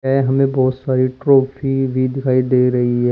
ये हमें बहोत सारी ट्रॉफी भी दिखाई दे रही है।